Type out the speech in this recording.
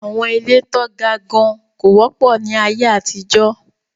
Àwọn ilé tán ga gan kò wọ́pọ̀ ní aye àtijọ́.